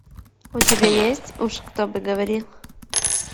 у тебя есть уж кто бы говорил